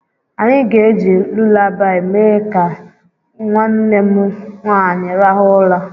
Anyị ga-eji lulabaị mee ka nwanne m nwaanyị rahụ ụra..